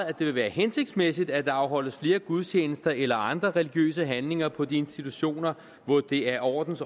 at det vil være hensigtsmæssigt at der afholdes flere gudstjenester eller andre religiøse handlinger på de institutioner hvor det af ordens